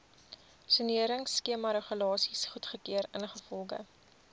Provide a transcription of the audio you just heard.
soneringskemaregulasies goedgekeur ingevolge